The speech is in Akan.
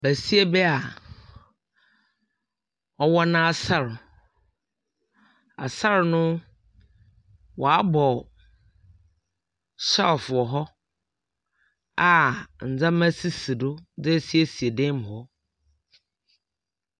Basia bi a ɔwɔ n'asar, asar no wcabɔ shelves wɔ hɔ a ndzɛma sisi do de esiesie dan mu hɔ.